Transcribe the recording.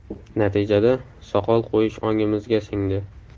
Natijada soqol qo‘yish ongimizga singdi.